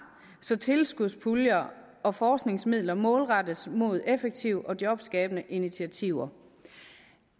så tilskudspuljer og forskningsmidler målrettes mod effektive og jobskabende initiativer